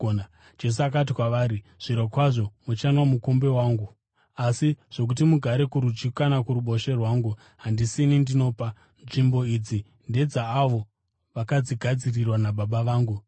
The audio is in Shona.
Jesu akati kwavari, “Zvirokwazvo muchanwa mumukombe wangu, asi zvokuti mugare kurudyi kana kuruboshwe rwangu, handisini ndinopa. Nzvimbo idzi ndedzaavo vakadzigadzirirwa naBaba vangu.”